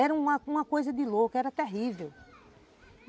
Era uma uma coisa de louco, era terrível.